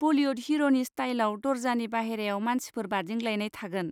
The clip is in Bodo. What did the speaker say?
बलिवुड हिर'नि स्टाइलआव दर्जानि बाहेरायाव मानसिफोर बादिंग्लायनाय थागोन।